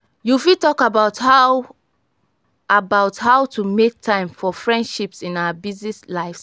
you fit talk about how about how to make time for friendships in our busy lives.